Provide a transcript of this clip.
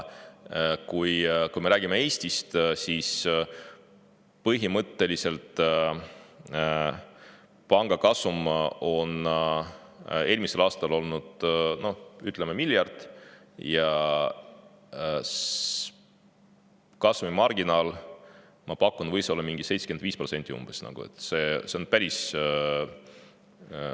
Kui me räägime Eestist, siis põhimõtteliselt võib öelda, et pankade kasum oli eelmisel aastal miljard ja kasumimarginaal, ma pakun, võis olla mingi 75%.